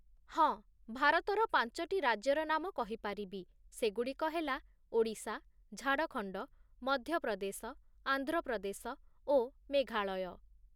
ହଁ, ଭାରତର ପାଞ୍ଚଟି ରାଜ୍ୟର ନାମ କହିପାରିବି ସେଗୁଡ଼ିକ ହେଲା ଓଡ଼ିଶା, ଝାଡ଼ଖଣ୍ଡ, ମଧ୍ୟପ୍ରଦେଶ, ଆନ୍ଧ୍ରପ୍ରଦେଶ ଓ ମେଘାଳୟ ।